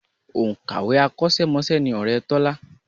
Òǹkàwé akọ́ṣẹ́mọṣẹ́ ni ọ̀rẹ́ Tọ́lá